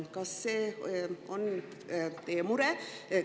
Kas see on teie mure?